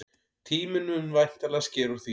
Tíminn mun væntanlega skera úr því.